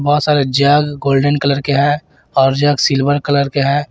बहोत सारे jug golden colour के है और जग सिल्वर कलर के है।